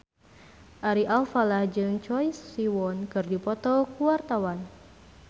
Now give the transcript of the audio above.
Ari Alfalah jeung Choi Siwon keur dipoto ku wartawan